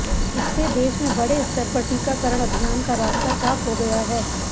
इससे देश में बड़े स्तर पर टीकाकरण अभियान का रास्ता साफ हो गया है